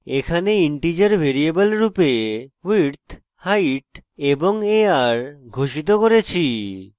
এখানে integer variable রূপে width height এবং ar ঘোষিত করেছি